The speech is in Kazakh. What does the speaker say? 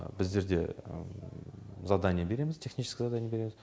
біздерде задание береміз технический задание береміз